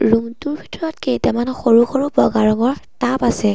Room টোৰ ভিতৰত কেইটামান সৰু সৰু বগা ৰঙৰ টাব আছে।